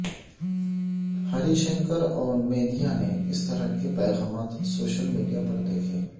ہری شنکر اور میدھا نے اس طرح کے پیغامات سوشل میڈیا پر دیکھے